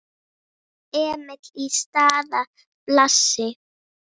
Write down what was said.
Emil í stað Blasi?